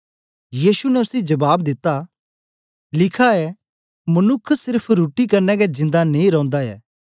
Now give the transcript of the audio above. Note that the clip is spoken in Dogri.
यीशु ने उसी जबाब दिता लिखा ऐ मनुक्ख सेर्फ रुट्टी कन्ने गै जिन्दा नेई रौंदा ऐ